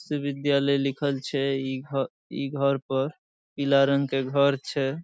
विश्वविद्यालय लिखल छै | ई घर ई घर पर पीला रंग के घर छै ।